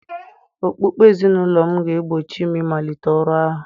Okpukpe ezinụlọ m ga-egbochi m ịmalite ọrụ ahụ